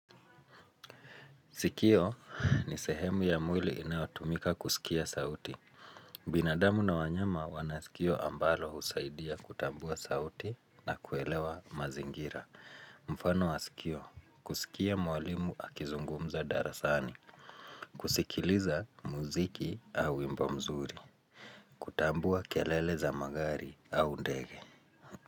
Sikio ni sehemu ya mwili inayotumika kusikia sauti. Binadamu na wanyama wana sikio ambalo husaidia kutambua sauti na kuelewa mazingira. Mfano wa sikio kusikia mwalimu akizungumza darasani, kusikiliza muziki au wimbo mzuri, kutambua kelele za magari au ndege.